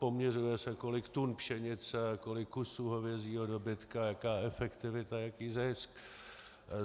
Poměřuje se, kolik tun pšenice a kolik kusů hovězího dobytka, jaká efektivita, jaký zisk.